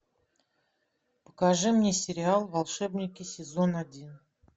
покажи мне сериал волшебники сезон один